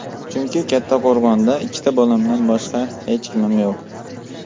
Chunki Kattaqo‘rg‘onda ikki bolamdan boshqa hech kimim yo‘q.